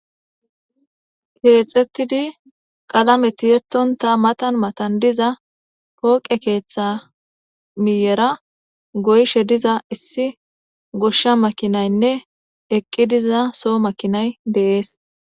keexetidi qalame tiyettonta matan matan diza pooqe keeththa miyera goyshe diza issi goshsha makinaynne eqqi diza soo makinay deees